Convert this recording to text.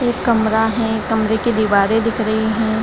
एक कमरा है कमरे की दीवारें दिख रही हैं।